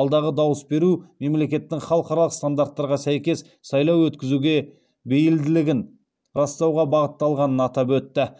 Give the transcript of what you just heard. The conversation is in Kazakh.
алдағы дауыс беру мемлекеттің халықаралық стандарттарға сәйкес сайлау өткізуге бейілділігін растауға бағытталғанын атап өтті